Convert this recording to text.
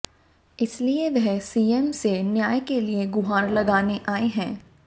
इसलिए वह सीएम से न्याय के लिए गुहार लगाने आई है